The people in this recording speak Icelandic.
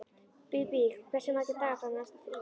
Bíbí, hversu margir dagar fram að næsta fríi?